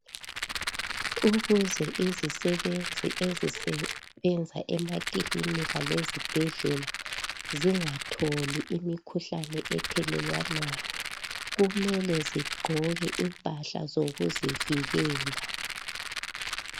Ukuze izisebenzi ezisebenza emakilinika lezibhedlela zingatholi imikhuhlane ethelelwanayo kumele zigqoke impahla zokuzivikela .